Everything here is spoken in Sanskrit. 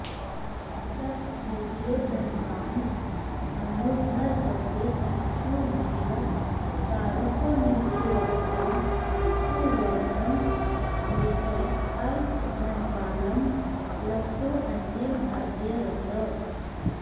सत् पूज्यो धनवान् धनुर्धर गते तीक्ष्णो भिषक् कारुको नीचोऽज्ञः कुवणिङ् मृगे अल्पधनवांल् लब्धोऽन्य भाग्यैर्रतः